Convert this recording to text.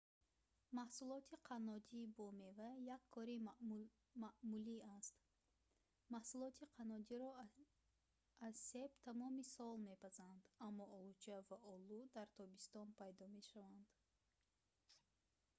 маҳсулоти қаннодӣ бо мева як кори маъмулӣ аст маҳсулоти қаннодиро аз себ тамоми сол мепазанд аммо олуча ва олу дар тобистон пайдо мешаванд